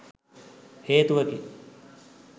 හේතුවකි.